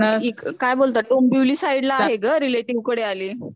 अअ काय बोलता डोंबिवली साईड ला आहे ग रेलॅटिव्ह कडे आलीये.